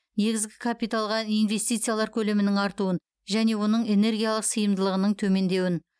негізгі капиталға инвестициялар көлемінің артуын және оның энергиялық сыйымдылығының төмендеуін